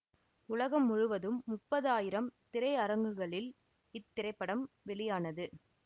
உலகம் முழுவதும் முப்பது ஆயிரம் திரையரங்குகளில் இத்திரைப்படம் வெளியானது